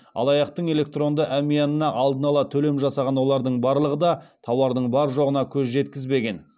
алаяқтың электронды әмиянына алдын ала төлем жасаған олардың барлығы да тауардың бар жоғына көз жеткізбеген